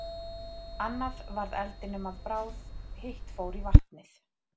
Annað varð eldinum að bráð, hitt fór í vatnið.